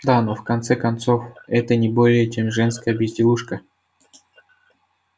да но в конце концов это не более чем женская безделушка